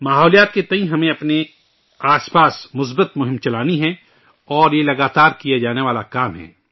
ماحولیات کے تعلق سے ہمیں اپنے آس پاس مثبت مہم چلانی چاہئے اور یہ مسلسل کرنے والا کام ہے